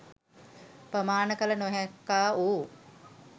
ප්‍රමාණ කළ නොහැක්කා වූ